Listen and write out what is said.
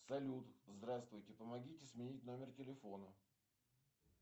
салют здравствуйте помогите сменить номер телефона